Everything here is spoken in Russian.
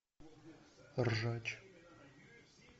ржач